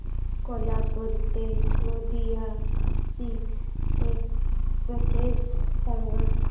कोल्हापूर ते गोंदिया ची एक्स्प्रेस सांगा